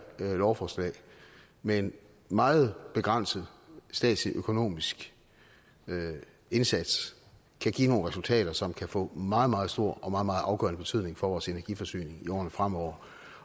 lovforslag med en meget begrænset statslig økonomisk indsats kan give nogle resultater som kan få meget meget stor og meget meget afgørende betydning for vores energiforsyning i årene fremover